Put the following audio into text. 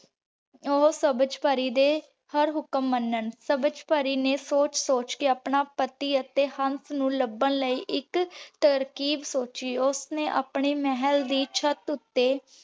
ਊ ਸਬਝ ਪਾਰੀ ਦੇ ਹਰ ਹੁਕਮ ਮਨਾਂ ਸਬਝ ਪਾਰੀ ਨੇ ਸੋਚ ਸੋਚ ਕੇ ਆਪਣਾ ਪਤੀ ਅਤੀ ਹੰਸ ਨੂ ਲਬਾਂ ਲੈ ਏਇਕ ਤਰਕੀਬ ਸੋਚੀ ਓਸ੍ਨੀ ਅਪਨੇ ਮੇਹਲ ਦੀ ਚਾਟ ਊਟੀ